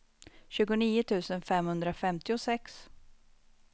tjugonio tusen femhundrafemtiosex